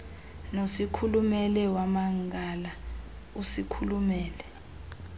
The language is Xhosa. nosikhulume wamangala usikhulume